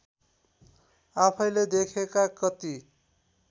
आफैँले देखेका कति